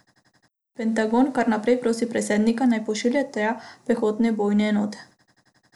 Pentagon kar naprej prosi predsednika, naj pošlje tja pehotne bojne enote.